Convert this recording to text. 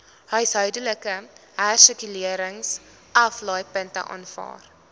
huishoudelike hersirkuleringsaflaaipunte aanvaar